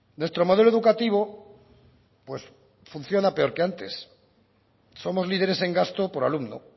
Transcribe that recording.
nuestro modelo educativo pues funciona peor que antes somos líderes en gasto por alumno